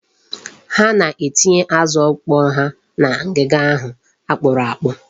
Ha na-etinye azụ ọkpọọ ha na ngiga ahụ akpụrụ akpụ.